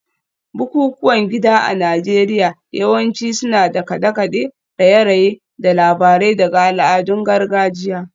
Bukukuwan gida a Najeriya yawanci suna da kade-kade, raye-raye, da labarai daga al'adun gargajiya